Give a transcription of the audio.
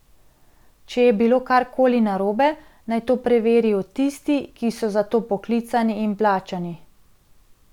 Če je bilo kar koli narobe, naj to preverijo tisti, ki so za to poklicani in plačani.